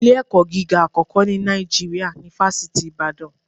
Ilé-ẹ̀kọ́ gíga àkọ́kọ́ ni Nàìjíríà ni Fásitì Ibadana